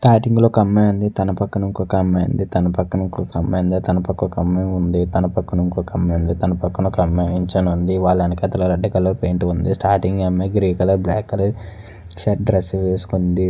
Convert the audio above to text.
Starting లో ఒక అమ్మాయి ఉంది. తన పక్కన ఇంకొక అమ్మాయి ఉంది తన పక్కన ఇంకొక అమ్మాయి ఉంది తన పక్కన ఒక అమ్మాయి ఉంది తన పక్కన ఇంకొక అమ్మాయి ఉంది తన పక్కన ఇంకొక అమ్మాయి నిల్చుని ఉంది. వాళ్ల వెనకతల రెడ్ కలర్ పెయింట్ ఉంది. స్టాటింగ్ అమ్మాయి grey colour black colour shirt dress వేసుకొని ఉంది.